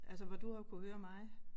Altså hvor du har jo kunnet høre mig